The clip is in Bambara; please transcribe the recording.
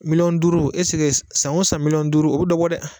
Miliyɔn esike san o san miliyɔn duuru o be dɔ dɛ